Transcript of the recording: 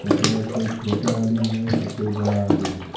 तथा कोई छोटा आलू है तो कोई बड़ा आलू है।